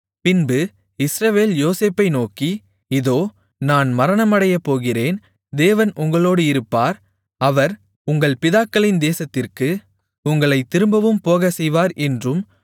பின்பு இஸ்ரவேல் யோசேப்பை நோக்கி இதோ நான் மரணமடையப்போகிறேன் தேவன் உங்களோடு இருப்பார் அவர் உங்கள் பிதாக்களின் தேசத்திற்கு உங்களைத் திரும்பவும் போகச் செய்வார் என்றும்